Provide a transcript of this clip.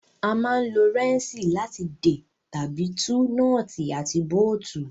A máa ń lo rẹ́ńṣì láti dè tàbí tú nọ́ọ́tì àti bóótù